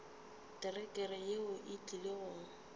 terekere yeo e tlile go